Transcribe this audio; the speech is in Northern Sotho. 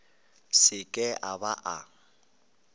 se ke a ba a